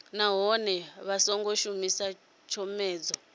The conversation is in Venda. nahone vha songo shumisa tshomedzo